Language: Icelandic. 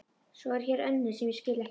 Svo er hér önnur sem ég skil ekkert í.